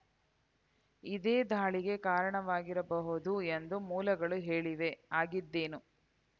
ಇದೇ ದಾಳಿಗೆ ಕಾರಣವಾಗಿರಬಹುದು ಎಂದು ಮೂಲಗಳು ಹೇಳಿವೆ ಆಗಿದ್ದೇನು